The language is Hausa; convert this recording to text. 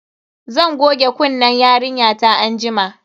Zan goge kunnen yarinyata anjima.